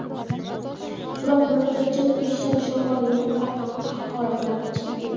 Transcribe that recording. Biroq murojaatchi ketishida shifokorlarni haqoratlab chiqib ketdi.